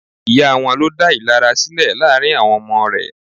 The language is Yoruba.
Ìyá wọn ló dá ìlara sílẹ̀ láàrín àwọn ọmọ rẹ̀.